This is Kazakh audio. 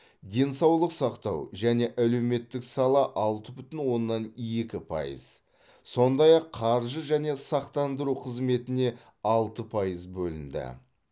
денсаулық сақтау және әлеуметтік сала алты бүтін оннан екі пайыз сондай ақ қаржы және сақтандыру қызметіне алты пайыз бөлінді